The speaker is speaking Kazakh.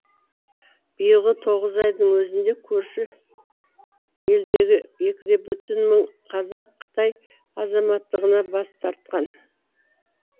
биылғы тоғыз айдың өзінде көрші елдегі екі де бүтін мың қазақ қытай азаматтығынан бас тартқан